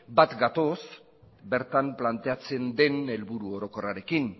bat gatoz bertan planteatzen den helburu orokorrarekin